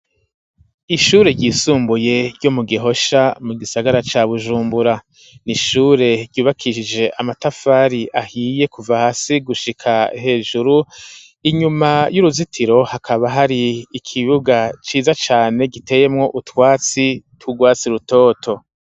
Ishure ryisumbuye, ryo mu Gihosha, mu gisagara ca Bujumbura; ni ishure ryubakishije, amatafari ahiye, kuva hasi, gushika hejuru; inyuma y'uruzitiro, hakaba hari ikibuga ciza cane, giteyemwo utwatsi, tw'urwatsi rutoto.